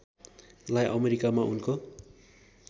लाई अमेरिकामा उनको